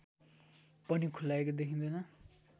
पनि खुलाएको देखिँदैन